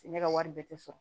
Ne ka wari bɛ tɛ sɔrɔ